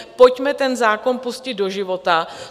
Pojďme ten zákon pustit do života.